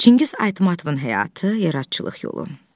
Çingiz Aytmatovun həyatı, yaradıcılıq yolu.